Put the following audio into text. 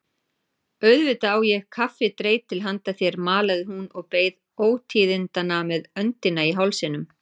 Auðvitað á ég kaffidreitil handa þér malaði hún og beið ótíðindanna með öndina í hálsinum.